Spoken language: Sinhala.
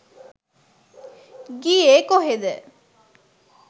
ගියේ කොහේද?